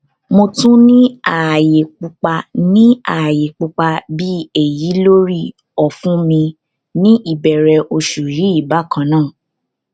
mo tun ni aaye pupa ni aaye pupa bi eyi lori ọfun mi ni ibẹrẹ oṣu yii bakannaa